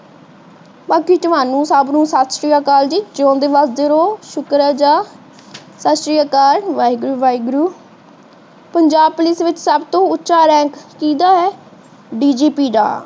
ਬਾਕੀ ਤੁਹਾਨੂੰ ਸਬਨੁ ਸਤਿ ਸ਼੍ਰੀ ਅਕਾਲ ਜੀ। ਜੀਓੰਦੇ ਵਸਦੇ ਰਹੋ ਸ਼ੁਕਰ ਅਦਾ। ਸਤਿ ਸ਼੍ਰੀ ਅਕਾਲ ਵਾਹਿਗੁਰੂ ਵਾਹਿਗੁਰੂ। ਪੰਜਾਬ ਪੁਲਿਸ ਵਿੱਚ ਸਬਤੋਂ ਉੱਚਾ ਰੈੰਕ ਕਿਹਦਾ ਹੈ